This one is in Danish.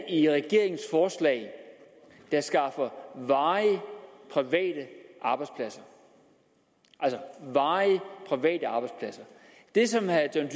i regeringens forslag der skaffer varige private arbejdspladser altså varige private arbejdspladser det som herre john